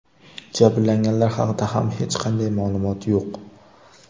Jabrlanganlar haqida ham hech qanday ma’lumot yo‘q.